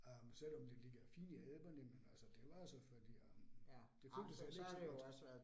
Øh selvom det ligger fint i alperne, men altså det var selvfølgelig øh, det føltes heller ikke så godt